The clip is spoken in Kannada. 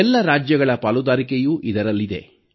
ಎಲ್ಲ ರಾಜ್ಯಗಳ ಪಾಲುದಾರಿಕೆಯೂ ಇದರಲ್ಲಿದೆ